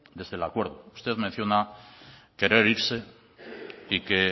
desde el acuerdo usted menciona querer irse y que